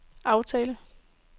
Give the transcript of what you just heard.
aftale